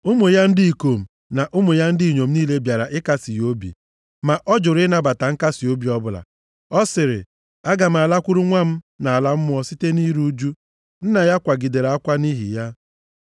Ụmụ ya ndị ikom na ụmụ ya ndị inyom niile bịara ịkasị ya obi, ma ọ jụrụ ịnabata nkasiobi ọbụla. Ọ sịrị, “Aga m alakwuru nwa m nʼala mmụọ site nʼiru ụjụ.” Nna ya kwagidere akwa nʼihi ya.